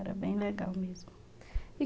Era bem legal mesmo. E